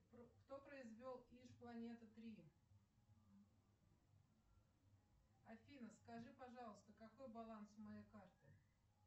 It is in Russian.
кто произвел планеты три афина скажи пожалуйста какой баланс у моей карты